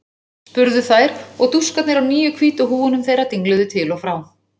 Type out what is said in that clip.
spurðu þær og dúskarnir á nýju hvítu húfunum þeirra dingluðu til og frá.